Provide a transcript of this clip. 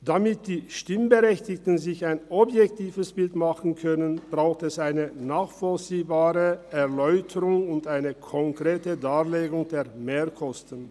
Damit die Stimmberechtigten sich ein objektives Bild machen können, braucht es eine nachvollziehbare Erläuterung und eine korrekte Darlegung der Mehrkosten.